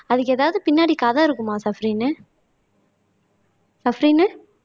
அதுக்கு ஏதாவது பின்னாடி கதை இருக்குமா சஃப்ரின்னு சஃப்ரின்